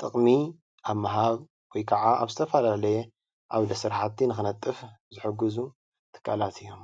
ጥቕሚ ኣብ ምሃብ ወይ ከዓ ኣብ ዝተፈላለየ ዓውደ ስራሕቲ ንኽነጥፍ ዝሕግዙ ትካላት እዮም፡፡